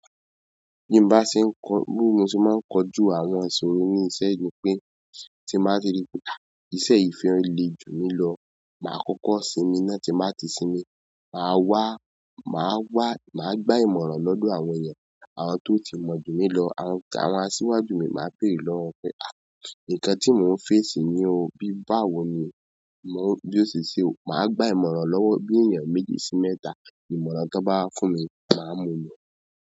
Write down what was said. Bí mo bá ṣe ń kọ, bi mo se máa ń kọ jú àwọn ìṣòro ní ìṣe ni pé tí mo bá ti rí pé àá, iṣẹ́ yi fẹ́ le jù mí lọ, màá kọ́kọ́ sinmi náà tí n bà ti sinmi. Màá wá, màá wá, màá gba ìmọ̀ràn lọ́dọ̀ àwọn ẹeyan, àwọn tó ti mọ̀ jù mí lọ, àwọn tó, àwọn asíwájú mi màá bere lọ́wọ́ won pé àá, nǹkan tí mò ń fèsì ní o, bí báwo ni mò ń, bí n ó ṣe ṣe. Màá gba ìmọ̀ràn lọ́wọ́ bí ènìyàn méjì sí mẹ́ta, ìmọ̀ràn ti won bá wa fún mi, màá mú un lọ.